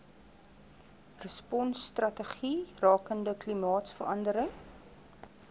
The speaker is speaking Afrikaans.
responsstrategie rakende klimaatsverandering